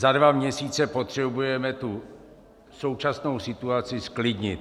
Za dva měsíce potřebujeme tu současnou situaci zklidnit.